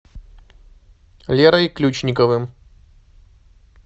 лерой ключниковым